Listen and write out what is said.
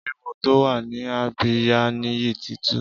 Éwó tó wà ni àbiyá Niyi ti tù